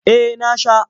Eh na sha.